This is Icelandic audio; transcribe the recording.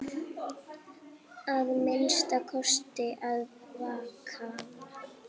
Að minnsta kosti að vakna.